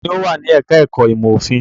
Ta ni ó wà ní ẹ̀ka-ẹ̀kọ́ ìmọ̀-òfin?